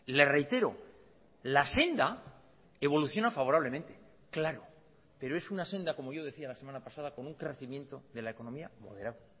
le reitero la senda evoluciona favorablemente claro pero es una senda como yo decía la semana pasada con un crecimiento de la economía moderado